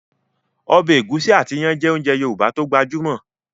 Ọbẹ̀ ẹ̀gúsí àti iyán jẹ́ ounjẹ Yorùbá tó gbajúmọ̀